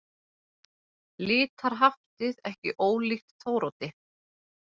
Litarhaftið ekki ólíkt Þóroddi.